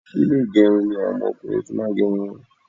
Ilé ìgẹrun ni àwọn ọkùnrin ti máa ń gé irun wọn